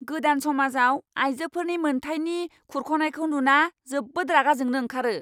गोदान समाजआव आइजोफोरनि मोनथायनि खुरख'नायखौ नुना जोबोद रागा जोंनो ओंखारो।